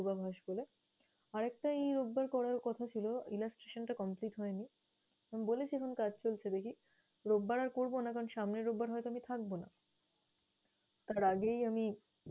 পূর্বাভাস বলে। আরেকটা এই রোববার করার কথা ছিল। Illustration টা complete হয়নি, আমি বলেছিলাম কাজ চলছে দেখি। রোববার আর করবো না করান সামনে রোববার হয়তো আমি থাকবো না। তার আগেই আমি